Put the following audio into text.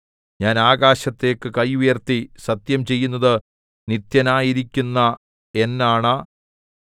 ഞാൻ ആകാശത്തേക്കു കൈ ഉയർത്തി സത്യം ചെയ്യുന്നത് നിത്യനായിരിക്കുന്ന എന്നാണ